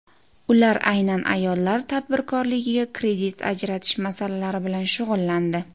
Ular aynan ayollar tadbirkorligiga kredit ajratish masalalari bilan shug‘ullandi.